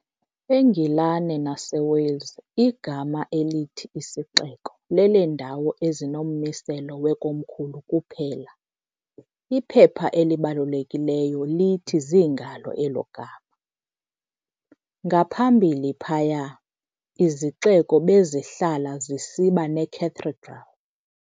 E-Ngilane naseWales, igama elithi i"sixeko" leleendawo ezinommiselo weKomkhulu kuphela, iphepha elibalulekileyo, lithi zingalo elo gama. ngaphambili phaya, izixeko bezihlala zisiba necathedral.